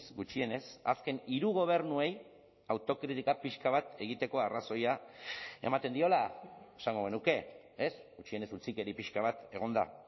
gutxienez azken hiru gobernuei autokritika pixka bat egiteko arrazoia ematen diola esango genuke ez gutxienez utzikeri pixka bat egon da